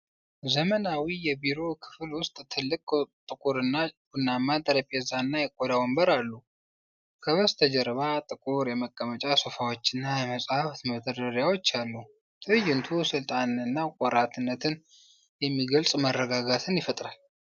ዘመናዊ የቢሮ ክፍል ውስጥ ትልቅ ጥቁርና ቡናማ ጠረጴዛና የቆዳ ወንበር አሉ። ከበስተጀርባ ጥቁር የመቀመጫ ሶፋዎችና የመጻሕፍት መደርደሪያዎች አሉ። ትዕይንቱ ስልጣንንና ቆራጥነትን የሚገልጽ መረጋጋትን ይፈጥራል።